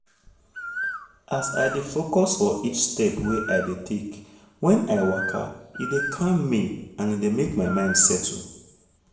as i dey focus for each step wey i dey take when i waka e dey calm me and e dey make my mind settle